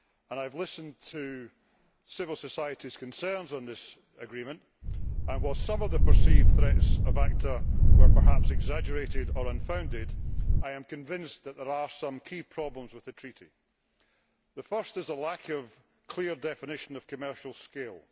I have listened to civil society's concerns on this agreement and, while some of the perceived threats of ACTA were perhaps exaggerated or unfounded, I am convinced that there are some key problems with the treaty. The first is a lack of clear definition of commercial scale'.